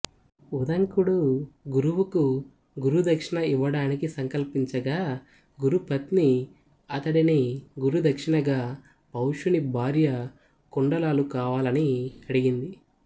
ఉదంకుడు గురువుకు గురుదక్షిణ ఇవ్వాడానికి సంకల్పించగా గురుపత్ని అతడిని గురుదక్షిణగా పౌష్యుని భార్య కుండలాలు కావాలని అడిగింది